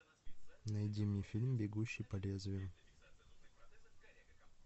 найди мне фильм бегущий по лезвию